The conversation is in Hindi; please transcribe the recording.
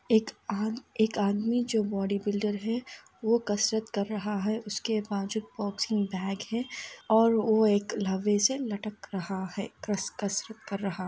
एक आम एक आदमी जो बॉडी बिल्डर हैं वो कसरत कर रहा हैं उसके वाजु बॉक्सिंग बैग हैं और वो एक लोवे से लटक रहा हैं।